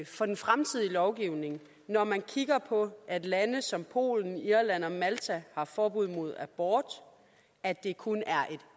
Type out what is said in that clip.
for den fremtidige lovgivning er når man kigger på at lande som polen irland og malta har forbud mod abort at det kun er et